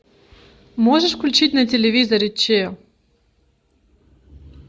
можешь включить на телевизоре че